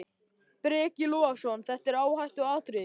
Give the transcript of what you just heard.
Breki Logason: Þetta er áhættuatriði?